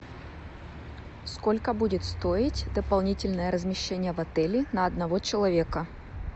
сколько будет стоить дополнительное размещение в отеле на одного человека